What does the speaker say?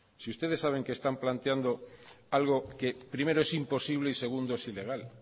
si ustedes saben que están planteando algo que primero es imposible y segundo es ilegal